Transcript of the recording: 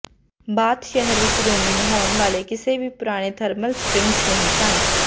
bath ਸ਼ਹਿਰ ਵਿਚ ਰੋਮੀ ਨਹਾਉਣ ਵਾਲੇ ਕਿਸੇ ਵੀ ਪੁਰਾਣੇ ਥਰਮਲ ਸਪ੍ਰਿੰਗਜ਼ ਨਹੀਂ ਸਨ